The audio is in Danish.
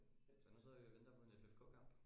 Så nu sidder vi og venter på en FFK kamp